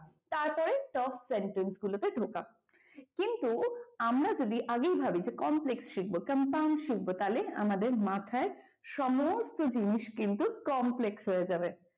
তাড়াতাড়ি top sentences গুলো তে ঢোকা কিন্তু আমরা যদি আগেই ভাবি যে complex শিখব compound শিখব তাহলে আমাদের মাথায় সমস্ত জিনিস কিন্তু complex হয়ে যাবে।